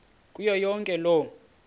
kuyo yonke loo